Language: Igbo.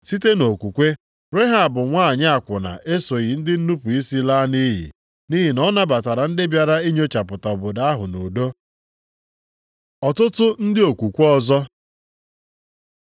Site nʼokwukwe, Rehab nwanyị akwụna esoghị ndị nnupu isi laa nʼiyi nʼihi na ọ nabatara ndị bịara inyochapụta obodo ahụ nʼudo. Ọtụtụ ndị okwukwe ọzọ